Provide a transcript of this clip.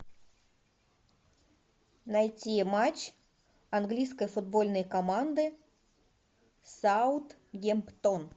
найти матч английской футбольной команды саутгемптон